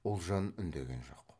ұлжан үндеген жоқ